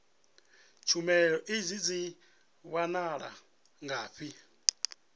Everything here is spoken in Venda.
tshumelo idzi dzi wanala ngafhi